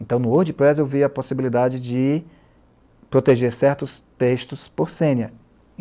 Então, no Wordpress eu vi a possibilidade de proteger certos textos por senha